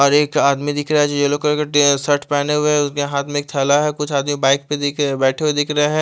और एक आदमी दिख रहा है येल्लो कलर का शर्ट पहने हुए है उसके हाथ में एक थैला है कुछ आदमी बाइक पे बे बेठे हुए दिख रहे है।